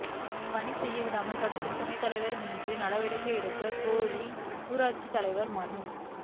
பணி செய்யவிடாமல் தடுக்கும் துணைத் தலைவா் மீது நடவடிக்கை எடுக்கக் கோரி ஊராட்சித் தலைவா் மனு